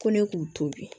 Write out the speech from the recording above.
Ko ne k'u to bi